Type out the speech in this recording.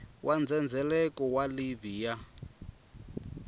wa ndzhendzheleko wa livhi ya